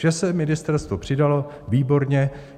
Že se ministerstvo přidalo, výborně.